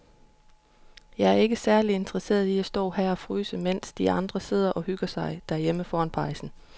Jeg er ikke særlig interesseret i at stå og fryse her, mens de andre sidder og hygger sig derhjemme foran pejsen.